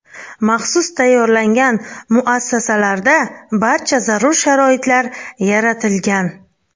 Maxsus tayyorlangan muassasalarda barcha zarur sharoitlar yaratilgan.